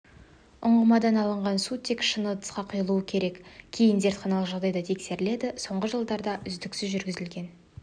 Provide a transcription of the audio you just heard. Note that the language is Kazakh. ұңғымадан алынған су тек шыны ыдысқа құйылуы керек кейін зертханалық жағдайда тексеріледі соңғы жылда үздіксіз жүргізілген